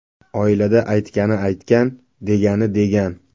Oilada aytgani aytgan, degani degan.